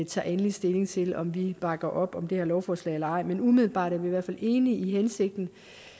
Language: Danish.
tager endelig stilling til om vi bakker op om det her lovforslag eller ej men umiddelbart er vi i hvert fald enige i hensigten